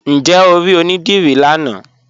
Ǹjẹ́ o ri onídírí lánà?